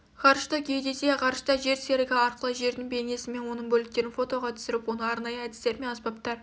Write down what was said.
ғарыштық геодезия ғарышта жер серігі арқылы жердің бейнесі мен оның бөліктерін фотаға түсіріп оны арнайы әдістер мен аспаптар